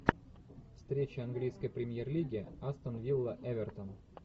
встреча английской премьер лиги астон вилла эвертон